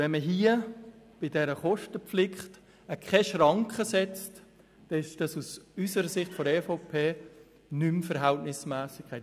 Wenn man bei dieser Kostenpflicht keine Schranke setzt, ist dies aus Sicht der EVP nicht mehr verhältnismässig: